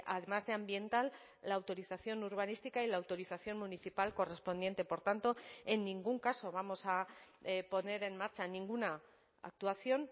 además de ambiental la autorización urbanística y la autorización municipal correspondiente por tanto en ningún caso vamos a poner en marcha ninguna actuación